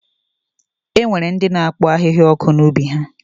E nwere ndị na-akpọ ahịhịa ọkụ n'ubi ha.